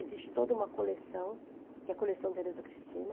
Existe toda uma coleção, que é a coleção Tereza Cristina.